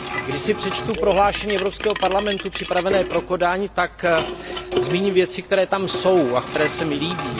Když si přečtu prohlášení Evropského parlamentu připravené pro Kodaň, tak zmíním věci, které tam jsou a které se mi líbí.